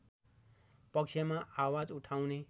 पक्षमा आवाज उठाउने